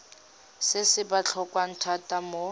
se se botlhokwa thata mo